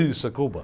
Isso, é Cuba.